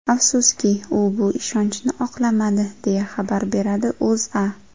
Afsuski, u bu ishonchni oqlamadi, deya xabar beradi O‘zA.